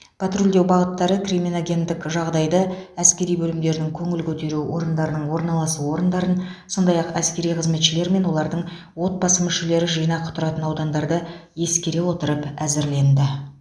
патрульдеу бағыттары криминогендік жағдайды әскери бөлімдердің көңіл көтеру орындарының орналасу орындарын сондай ақ әскери қызметшілер мен олардың отбасы мүшелері жинақы тұратын аудандарды ескере отырып әзірленді